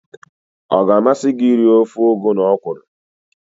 Ọ ga-amasị gị iri ofe ugu na ọkwụrụ?